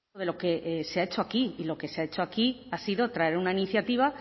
de lo que se ha hecho aquí y lo que se ha hecho aquí ha sido traer una iniciativa